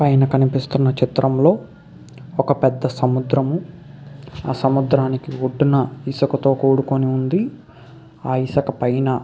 పైన కనిపిస్తున్న చిత్రంలో ఒక పెద్ద సముద్రము. ఆ సముద్రానికి ఒడ్డున ఇసుతో కూడుకొని ఉంది. ఆ ఇసుక పైన--